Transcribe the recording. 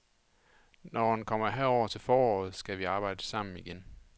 Når han kommer herover til foråret, skal vi arbejde sammen igen.